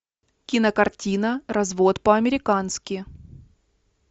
кинокартина развод по американски